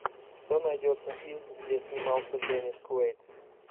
что найдется из где снимался деннис куэйд